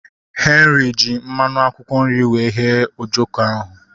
Henry ji mmanụ akwụkwọ nri wee ghee ojoko ahu